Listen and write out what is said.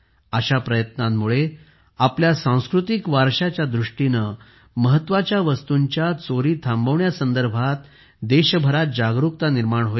अशा प्रयत्नांमुळे आपल्या सांस्कृतिक वारशाच्या दृष्टीने महत्त्वाच्या वस्तूंच्या चोरीसंदर्भात देशभरात जागरुकता निर्माण होईल